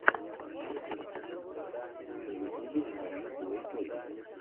на ютубе покажи плэй тойс